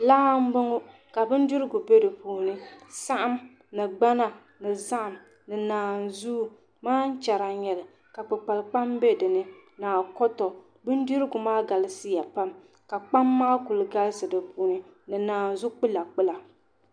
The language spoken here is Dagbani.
laa m-bɔŋɔ ka bindirigu be di puuni saɣim ni gbana ni zahim ni naanzuwa maan' chɛra n-nyɛ li ka kpakpuli kpam be dini ni akɔtɔ bindirgu maa galisiya pam ka kpam maa kuli galisi di puuni ni naanzu' kpulakpula